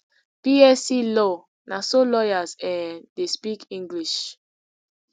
bsc law na so lawyers um dey speak english